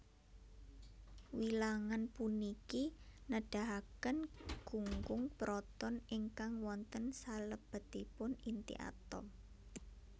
Wilangan puniki nedahaken gunggung proton ingkang wonten salebetipun inti atom